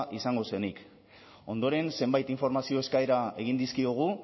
izango zenik ondoren zenbait informazio eskaera egin dizkiogu